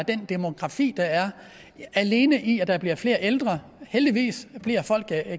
den demografi der er alene i at der bliver flere ældre heldigvis bliver folk